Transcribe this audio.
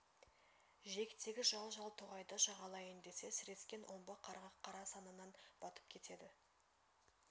жиектегі жал-жал тоғайды жағалайын десе сірескен омбы қарға қара санынан батып кетеді